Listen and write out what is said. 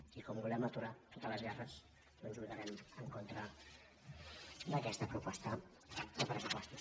i com que volem aturar totes les guerres doncs vota·rem en contra d’aquesta proposta de pressupostos